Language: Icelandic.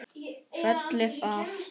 Fellið af.